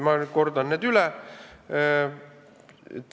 Ma kordan need üle.